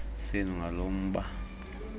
senu ngalo mba